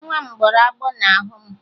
Nwa m gbọrọ agbọ n'ahụ m